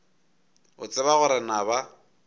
o tseba gore na ba